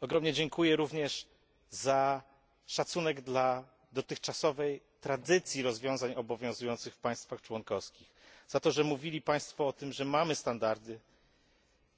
Ogromnie dziękuję również za szacunek dla dotychczasowej tradycji rozwiązań obowiązujących w państwach członkowskich, za to, że mówili Państwo o tym, że mamy standardy